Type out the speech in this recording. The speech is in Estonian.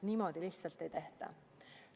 Niimoodi lihtsalt ei tehta.